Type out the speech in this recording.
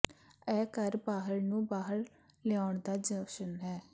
ਇਹ ਘਰ ਬਾਹਰ ਨੂੰ ਬਾਹਰ ਲਿਆਉਣ ਦਾ ਜਸ਼ਨ ਹੈ